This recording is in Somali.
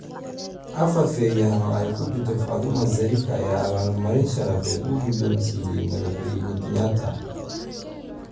Afar feeryahan oo ay ku jirto Faadumo Zarika ayaa abaal-marin sharafeed uu guddoonsiiyay Madaxweyne Kenyatta